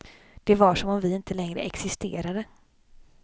Det var som om vi inte längre existerade.